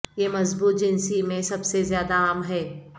یہ مضبوط جنسی میں سب سے زیادہ عام ہے